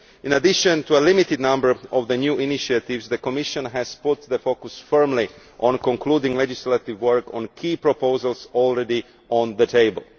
In addition to a limited number of new initiatives, the Commission has put the focus firmly on concluding legislative work on key proposals that are already on the table.